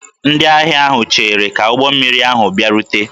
Ndị ahịa ahụ cheere ka ụgbọ mmiri ahụ bịarute